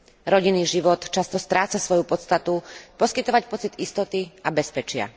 Rodinný život často stráca svoju podstatu poskytovať pocit istoty a bezpečia.